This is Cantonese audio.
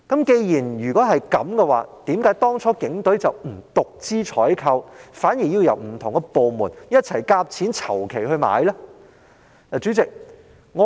既然如此，警隊何以當初不獨資進行採購，反而要不同部門一起籌款購買水馬呢？